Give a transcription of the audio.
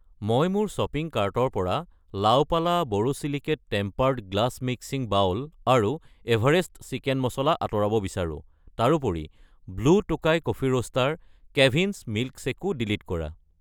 মই মোৰ শ্বপিং কাৰ্টৰ পৰা La Opala borosilicate tempered glass mixing bowl আৰু এভাৰেষ্ট চিকেন মছলা আঁতৰাব বিচাৰো। তাৰোপৰি blue Tokai coffee roaster , Kevin's মিল্কশ্বেকো ডিলিট কৰা।